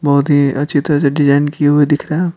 बहुत ही अच्छी तरह से डिजाइन किए हुए दिख रे है।